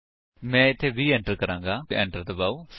ਮੈਂ ਇੱਥੇ 20 ਐਟਰ ਕਰਾਂਗਾ ਅਤੇ ਫਿਰ ਐਟਰ ਦਬਾਓ